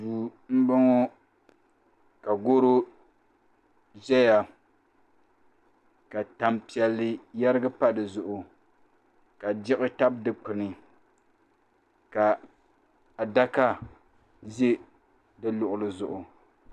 duu m-bɔŋɔ ka garo zaya ka tampiɛlli yɛrigi m-pa di zuɣu ka diɣi tabi dukpuni ka adaka ʒi di luɣuli zuɣu